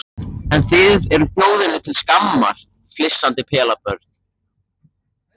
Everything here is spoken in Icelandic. En þið þið eruð þjóðinni til skammar, flissandi pelabörn.